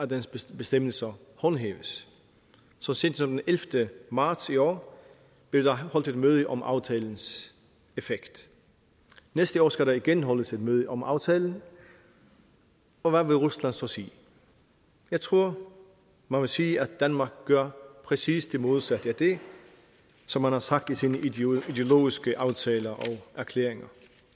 dens bestemmelser håndhæves så sent som den ellevte marts i år blev der holdt et møde om aftalens effekt næste år skal der igen holdes et møde om aftalen og hvad vil rusland så sige jeg tror man vil sige at danmark gør præcis det modsatte af det som man har sagt i sine ideologiske aftaler og erklæringer